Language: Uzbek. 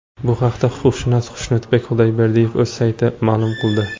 Bu haqda huquqshunos Xushnudbek Xudayberdiyev o‘z saytida ma’lum qildi .